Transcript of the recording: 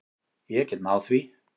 Ég get náð því.